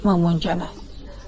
Mamanı cana.